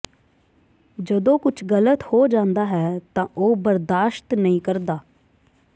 ਜਦੋਂ ਕੁਝ ਗਲਤ ਹੋ ਜਾਂਦਾ ਹੈ ਤਾਂ ਉਹ ਬਰਦਾਸ਼ਤ ਨਹੀਂ ਕਰਦਾ